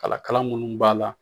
Kala kala minnu b'a la